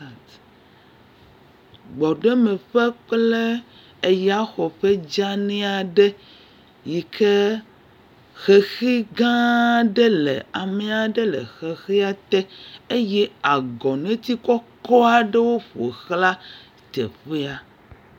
Gbɔɖemeƒe kple eyaxɔƒe dzeani aɖe yike xexi gãa aɖe le ame aɖe le xexia te, eye agɔneti kɔkɔ aɖewo ƒo xlã teƒea.